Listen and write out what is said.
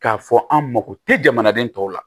K'a fɔ an mako tɛ jamanaden tɔw la